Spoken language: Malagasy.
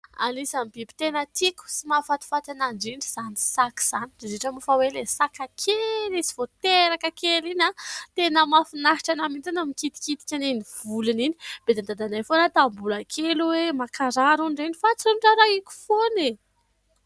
Anisan'ny biby tena tiako sy mahafatifaty ana indrindra izany saka izany indrindra indrindra moa fa hoe ilay sakakely izy vao teraka kely iny a tena mahafinahitra ana mihitsy mikitikitika an'iny volony iny. Bedin'i dadanay foana aho tamin'ny mbola kely hoe mankarary hono ireny fa tsy noraraiko foana e!